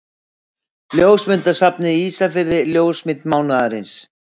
Ljósmyndasafnið Ísafirði Ljósmynd mánaðarins.